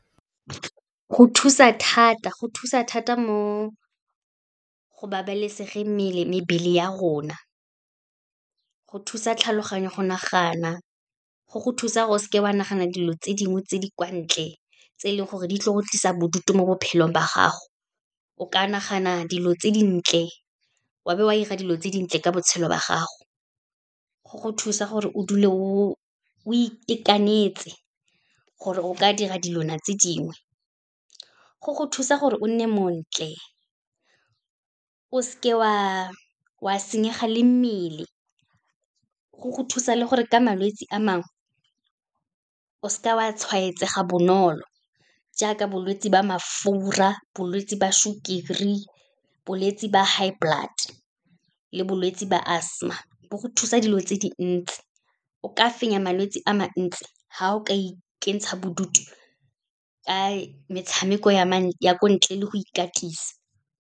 Go thusa thata. Go thusa thata mo go babalesegeng mebele ya rona, go thusa tlhaloganyo go nagana, go go thusa gore o seke wa nagana dilo tse dingwe tse di kwa ntle, tse e leng gore di tle go tlisa bodutu mo bophelong ba gago, o ka nagana dilo tse dintle, wa be wa 'ira dilo tse dintle ka botshelo ba gago. Go go thusa gore o dule o itekanetse, gore o ka dira dilwana tse dingwe, go go thusa gore o nne montle, o seke wa senyega le mmele, go go thusa le gore ka malwetse a mangwe, o seka wa tshwaetsega bonolo, jaaka bolwetse ba mafura, bolwetse ba sukiri, bolwetse ba high blood le bolwetse ba asthma. Bo go thusa dilo tse dintsi, o ka fenya malwetse a mantsi fa o ka ikentsha bodutu, ka metshameko ya ko ntle le go ikatisa.